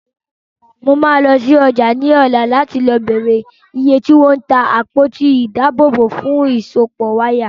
Mo máa lọ sí ọjà ní ọ̀la láti béèrè iye tí wọ́n ń ta àpótí ìdábòòbò fún ìsopọ̀ wáyà.